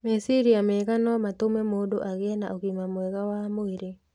Meciria mega no matũme mũndũ agĩe na ũgima mwega wa mwĩrĩ.